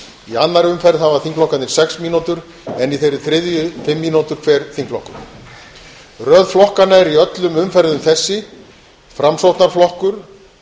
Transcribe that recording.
í annarri umferð hafa þingflokkarnir sex mínútur en í þeirri þriðju fimm mínútur hver þingflokkur röð flokkanna er í öllum umferðum þessi framsóknarflokkur